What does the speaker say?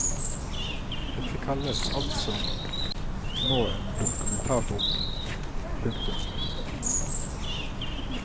Dette kalles altså nå en dokumentarbok. punktum